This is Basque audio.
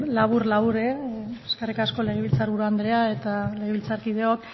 labur labur eskerrik asko legebiltzar buru andrea eta legebiltzarkideok